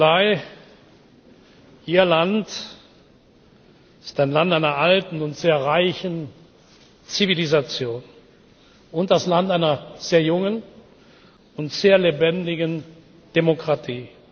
Die Mongolei, Ihr Land, ist ein Land einer alten und sehr reichen Zivilisation und das Land einer sehr jungen und sehr lebendigen Demokratie.